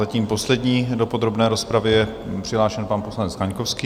Zatím poslední do podrobné rozpravy je přihlášen pan poslanec Kaňkovský.